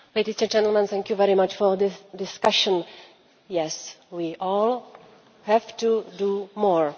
Mr President, ladies and gentlemen, thank you very much for this discussion. Yes, we all have to do more